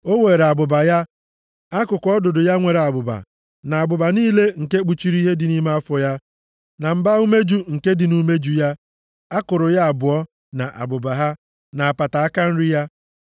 O weere abụba ya, akụkụ ọdụdụ ya nwere abụba, na abụba niile nke kpuchiri ihe dị nʼime afọ ya, na mba-umeju nke dị nʼumeju ya, akụrụ ya abụọ na abụba ha, na apata aka nri ya